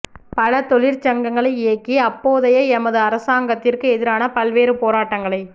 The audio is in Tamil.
பல தொழிற்சங்கங்களை இயக்கி அப்போதய எமது அரசாங்கத்திற்கு எதிரான பல்வேறு போராட்டங்களை